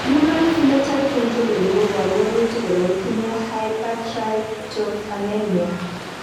human Phenotype Ontology koporu wolutik kole itinye Hypertryptophanemia